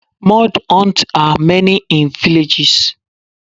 Mud huts are many in villages.